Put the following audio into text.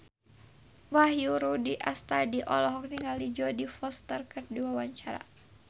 Wahyu Rudi Astadi olohok ningali Jodie Foster keur diwawancara